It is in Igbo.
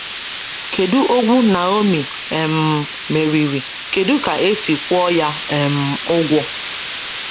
Kedu ogwu Naomi um meriri, kedu ka e si kwụọ ya um ụgwọ?